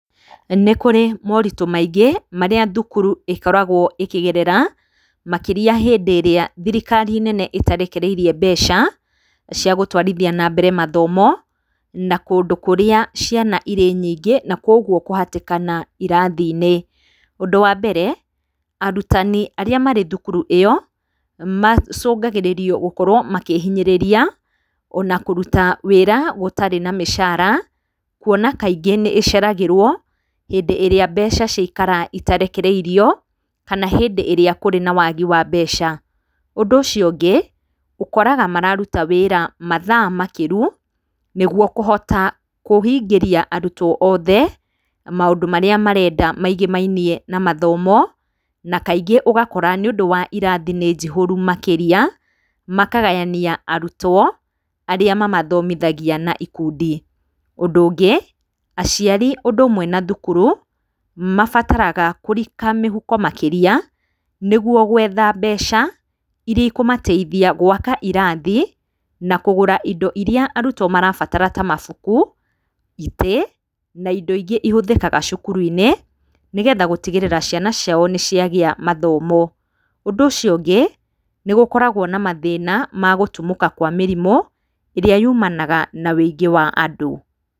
Nĩ kũrĩ moritũ maingĩ marĩa thukuru ĩkoragwo ĩkĩgerera, makĩria hĩndĩ ĩrĩa thirikari nene ĩtarekereirie mbeca cia gũtwarithia na mbere mathomo, na kũndũ kũrĩa ciana irĩ nyingĩ na kwoguo kũhatĩkana irathi-inĩ. Ũndũ wa mbere, arutani arĩa marĩ thukuru ĩyo macũngagĩrĩrio gũkorwo makĩhinyanĩrĩria, ona kũruta wĩra gũtarĩ na mĩcara. Kũona kaingĩ nĩ ĩceragĩrwo hĩndĩ ĩrĩa mbeca ciaikara itarekereirio kana hĩndĩ ĩrĩa kũrĩ na wagi wa mbeca. Ũndũ ũcio ũngĩ, ũkoraga mararuta wĩra mathaa makĩru nĩguo kũhota kũhingĩria arutwo othe maũndũ marĩa marenda maigĩmainie na gĩthomo. Na kaingĩ ũgakora nĩũndũ wa irathi nĩ njihũru makĩria, makagayania arutwo arĩa mamathomithagia na ikundi. Ũndũ ũngĩ, aciari ũndũ ũmwe na thukuru mabataraga kũrika mĩhuko makĩria nĩguo gwetha mbeca irĩa ikũmateithia gwaka irathi, na kũgũra indo irĩa arutwo marabatara ta mabuku, itĩ na indo ingĩ ihũthĩkaga cukuru-inĩ, nĩgetha gũtigĩrĩra ciana ciao nĩ ciagĩa mathomo. Ũndũ ũcio ũngĩ, nĩ gũkoragwo na mathĩna ma gũtumũka kwa mĩrimũ ĩrĩa yumanaga na ũingĩ wa andũ.